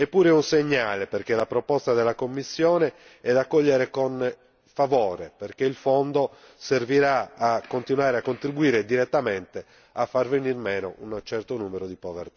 Eppure è un segnale, perché la proposta della Commissione è da accogliere con favore perché il Fondo servirà a continuare a contribuire direttamente a far venir meno un certo numero di